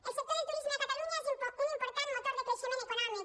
el sector del turisme a catalunya és un important motor de creixement econòmic